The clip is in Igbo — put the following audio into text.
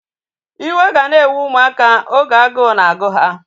Iwe ga na-ewe ụmụaka oge agụụ na-agụ ha